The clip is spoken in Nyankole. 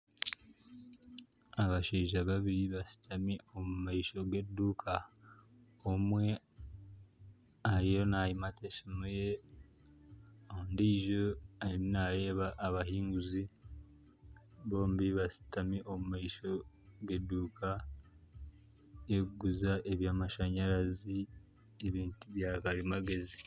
Abashaija babiri bashitami omu maisho g'eduuka . Omwe ariyo nayimata esimu ye, ondiijo ariyo nareeba abahinguzi. Bombi bashutami omu maisho g'eduuka erikuguza ebyamashanyarazi n'ebintu bya karimagezi.